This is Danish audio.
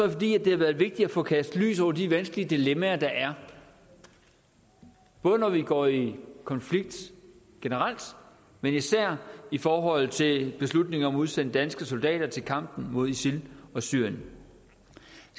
det fordi det har været vigtigt at få kastet lys over de vanskelige dilemmaer der er både når vi går i konflikt generelt men især i forhold til beslutningen om at udsende danske soldater til kampen mod isil og syrien